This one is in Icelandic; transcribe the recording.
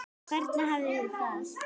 Hvernig hafið þið það?